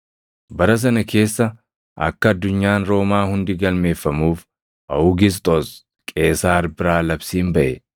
Bara sana keessa akka addunyaan Roomaa hundi galmeeffamuuf Awugisxoos Qeesaar biraa labsiin baʼe.